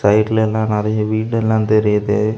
சைடுல எல்லா நிறைய வீடெல்லா தெரியுது.